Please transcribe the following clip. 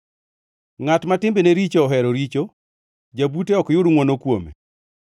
Ngʼat ma timbene richo ohero richo; jabute ok yud ngʼwono kuome.